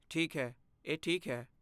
ਠੀਕ ਹੈ, ਇਹ ਠੀਕ ਹੈ।